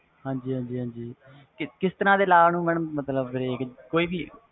ਹਾਜੀ ਹਾਜੀ madam ਕਿਸ ਤਰਾਂ ਦੇ ਮਤਬਲ ਕੋਈ ਵੀ law ਨੂੰ